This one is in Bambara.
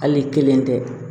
Hali ni kelen tɛ